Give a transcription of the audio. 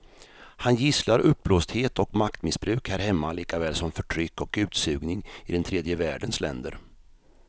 Han gisslar uppblåsthet och maktmissbruk här hemma likaväl som förtryck och utsugning i den tredje världens länder.